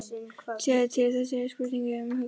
Sjáðu til, þetta er spurning um höggstað.